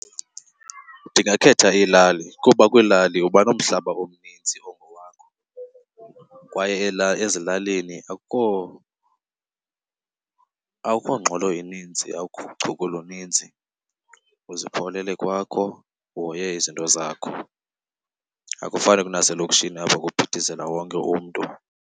Ndingakhetha iilali kuba kwiilali uba nomhlaba omnintsi ongowakho kwaye ezilalini akukho ngxolo ininzi, akukho uchuku oluninzi, uzipholele kwakho uhoye izinto zakho. Akufani kunaselokishini apho kuphithizela wonke umntu.